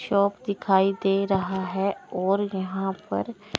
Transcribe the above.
shop दिखाई दे रहा है और यहां पर--